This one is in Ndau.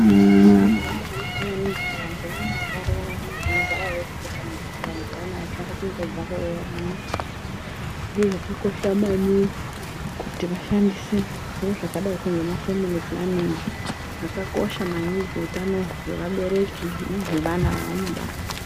Chiro chakambanaka maningi kuti vantu vayana vakarorana vanogara veshe kana kuti vantu vayana vachade kungobva kuroorana zviro zvakakosha maningi kuti vashandise zviro zvakadai ngemafemili pulaningi zvakakosha maningi kuutano hweabereki nehweana vaanobara.